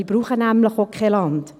Wir brauchen nämlich auch kein Land.